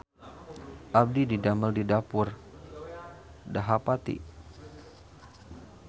Abdi didamel di Dapur Dahapati